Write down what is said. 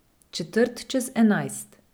Četrt čez enajst.